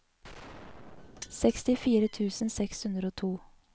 sekstifire tusen seks hundre og to